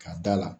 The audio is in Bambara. Ka da la